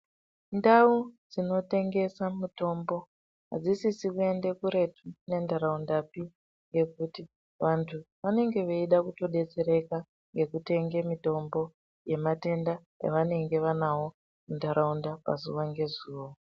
Ndau dzinotengese mitombo adzisisi kuende kuretu nentharaundapi nekuti vanthu vanenge veide kutidetsereka ngekutenge mitombo yematenda avanenge vanao muntharaunda pazuva ngezuva.